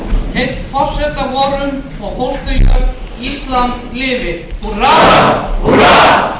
ég þingheim að rísa úr sætum og minnast